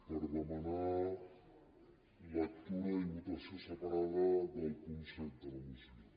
per demanar lectura i votació separada del punt set de la moció